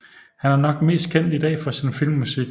Han er nok mest kendt i dag for sin filmmusik